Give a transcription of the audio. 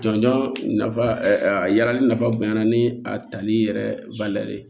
Jɔnjɔn nafa a ya yirali nafa bonyana ni a tali yɛrɛ ye